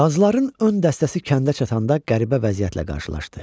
Qazların ön dəstəsi kəndə çatanda qəribə vəziyyətlə qarşılaşdı.